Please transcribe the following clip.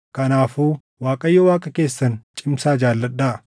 Kanaafuu Waaqayyo Waaqa keessan cimsaa jaalladhaa.